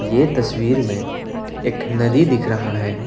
ये तस्वीर में एक नदी दिख रहा है।